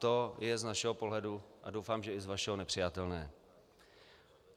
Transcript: To je z našeho pohledu - a doufám, že i z vašeho - nepřijatelné.